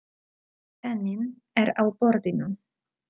Penninn er á borðinu.